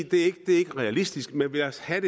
det ikke er realistisk men lad os have